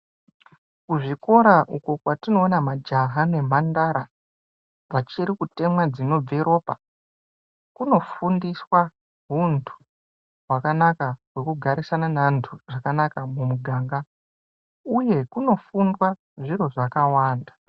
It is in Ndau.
Kuzvikora uko kwatinoona majaha nemhandara, vachiri kutemwa dzinobva ropa, kunofundiswa huntu hwakanaka hwekugarisana neantu zvakanaka mumuganga uye kunofundwa zviro zvakawanda.